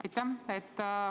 Aitäh!